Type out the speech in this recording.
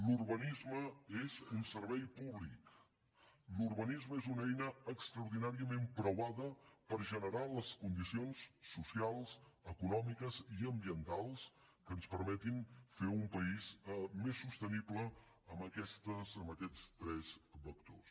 l’urbanisme és un servei públic l’urbanisme és una eina extraordinàriament preuada per generar les condicions socials econòmiques i ambientals que ens permetin fer un país més sostenible en aquests tres vectors